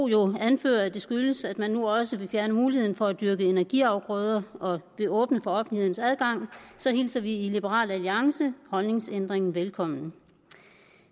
jo anfører at det skyldes at man nu også vil fjerne muligheden for at dyrke energiafgrøder og at der bliver åbnet for offentlighedens adgang så hilser vi i liberal alliance holdningsændringen velkommen